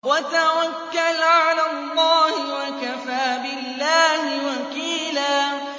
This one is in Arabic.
وَتَوَكَّلْ عَلَى اللَّهِ ۚ وَكَفَىٰ بِاللَّهِ وَكِيلًا